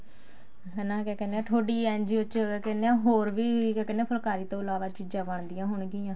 ਹਨਾ ਕਿਆ ਕਹਿਨੇ ਆ ਤੁਹਾਡੀ NGO ਚ ਕਿਆ ਕਹਿਨੇ ਆ ਹੋਰ ਵੀ ਕਿਆ ਕਹਿਨੇ ਆ ਫੁਲਾਕਰੀ ਤੋਂ ਇਲਾਵਾ ਚੀਜ਼ਾਂ ਬਣਦੀਆਂ ਹੋਣਗੀਆਂ